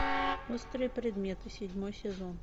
острые предметы седьмой сезон